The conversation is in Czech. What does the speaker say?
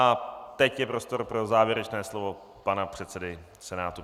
A teď je prostor pro závěrečné slovo pana předsedy Senátu.